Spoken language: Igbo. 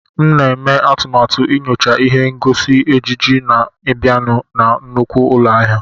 M na-eme atụmatụ inyocha ihe ngosi ejiji na-abịanụ na nnukwu ụlọ ahịa.